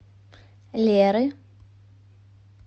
леры